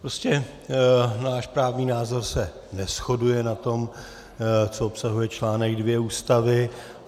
Prostě náš právní názor se neshoduje na tom, co obsahuje článek 2 Ústavy.